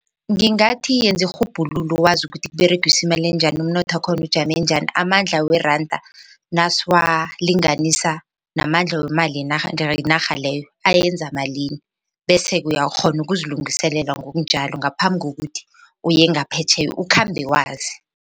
Ngingathi yenza irhubhululo wazi ukuthi kuberegiswa imali njani umnotho wakhona ujame njani amandla weranda nasiwalinganisa namandla wemali yenarha leyo ayenza malini bese uyakghona ukuzilungiselela ngokunjalo ngaphambi kokuthi uye ngaphetjheya ukhambe wazi.